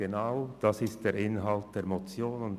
Genau das ist der Inhalt der Motion.